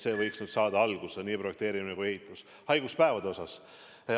See võiks nüüd saada alguse, nii projekteerimine kui ka ehitus.